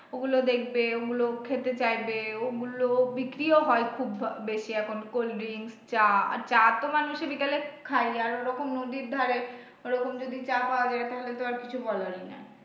ওগুলো দেখবে ওগুলো খেতে চাইবে ওগুলো বিক্রিও হয় খুব বেশি এখন cold drinks চা আর চা তো মানুষ এ বিকেলে খাই আর ওরকম নদীর ধারে ওরকম যদি চা পাওয়া যায় তাহলে তো আর কিছু বলার নাই।